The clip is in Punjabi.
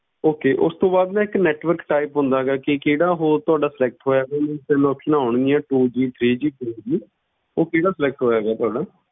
Okay ਉਸ ਤੋਂ ਬਾਅਦ ਨਾ ਇੱਕ network type ਹੁੰਦਾ ਗਾ ਕਿ ਕਿਹੜਾ ਹੋਰ ਤੁਹਾਡਾ select ਹੋਇਆ ਤਿੰਨ, ਤਿੰਨ options ਆਉਣਗੀਆਂ two G three G four G ਉਹ ਕਿਹੜਾ select ਹੋਇਆ ਗਾ ਤੁਹਾਡਾ?